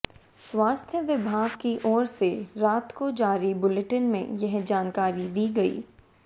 स्वास्थ्य विभाग की ओर से रात को जारी बुलेटिन में यह जानकारी दी गई